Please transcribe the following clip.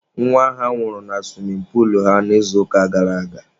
Nwa ha nwụrụ na suwimin puulu ha n'izuụka gara aga.